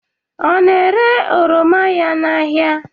Ọ na-ere oroma ya n'ahia?